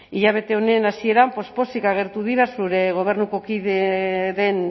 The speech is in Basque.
hilabete honen hasieran poz pozik agertu dira zure gobernuko kide den